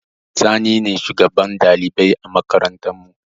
Sani ne shugaban ɗalibai a makarantar mu